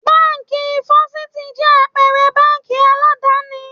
Báńkì Fọ́sítì jẹ́ àpẹrẹ báńkì aládàni.